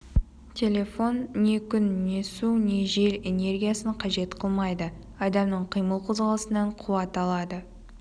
телефон не күн не су не жел энергиясын қажет қылмайды адамның қимыл қозғалысынан қуат алады